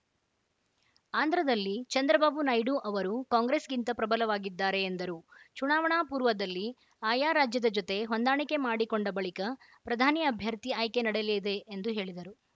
ಆಂಧ್ರದಲ್ಲಿ ಚಂದ್ರಬಾಬು ನಾಯ್ಡು ಅವರು ಕಾಂಗ್ರೆಸ್‌ಗಿಂತ ಪ್ರಬಲವಾಗಿದ್ದಾರೆ ಎಂದರು ಚುನಾವಣಾ ಪೂರ್ವದಲ್ಲಿ ಆಯಾ ರಾಜ್ಯದ ಜೊತೆ ಹೊಂದಾಣಿಕೆ ಮಾಡಿಕೊಂಡ ಬಳಿಕ ಪ್ರಧಾನಿ ಅಭ್ಯರ್ಥಿ ಆಯ್ಕೆ ನಡೆಯಲಿದೆ ಎಂದು ಹೇಳಿದರು